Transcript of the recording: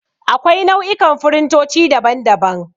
Akwai nau'ikan firintoci, daban daban.